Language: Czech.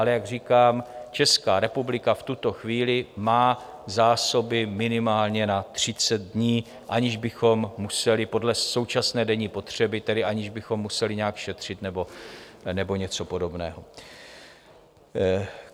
Ale jak říkám, Česká republika v tuto chvíli má zásoby minimálně na 30 dní, aniž bychom museli - podle současné denní spotřeby tedy - aniž bychom museli nějak šetřit nebo něco podobného.